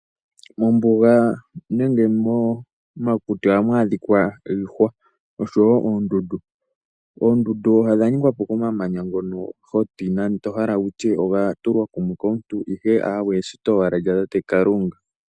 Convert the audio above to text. Mombuga nenge momakuti ohamu adhika iihwa osho woo koondundu. Oondundu odha ningwapo kamamanya ngono tohala wutye oga tulwa kumwe nande okomuntu ihe aawe eshito owala lya tate Kalunga.